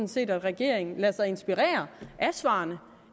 set at regeringen lader sig inspirere af svarene